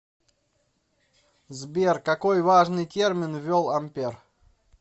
сбер какой важный термин ввел ампер